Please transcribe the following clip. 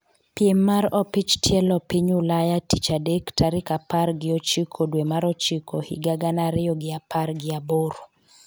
piem mar opich tielo piny Ulaya tich adek tarik apar gi ochiko dwe mar ochiko higa gana ariyo gi apar gi aboro